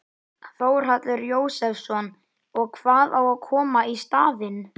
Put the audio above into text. Þórhallur Jósefsson: Og hvað á að koma í staðinn?